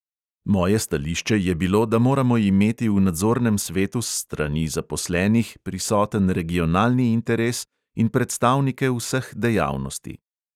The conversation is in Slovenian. Moje stališče je bilo, da moramo imeti v nadzornem svetu s strani zaposlenih prisoten regionalni interes in predstavnike vseh dejavnosti.